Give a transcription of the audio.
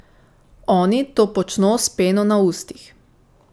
Oni to počno s peno na ustih.